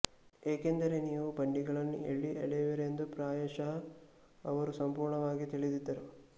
ಏಕೆಂದರೆ ನೀವು ಬಂಡಿಗಳನ್ನು ಎಲ್ಲಿ ಎಳೆಯುವಿರೆಂದು ಪ್ರಾಯಶಃ ಅವರು ಸಂಪೂರ್ಣವಾಗಿ ತಿಳಿದಿದ್ದರು